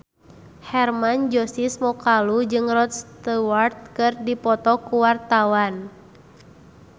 Hermann Josis Mokalu jeung Rod Stewart keur dipoto ku wartawan